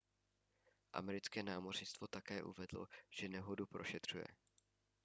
americké námořnictvo také uvedlo že nehodu prošetřuje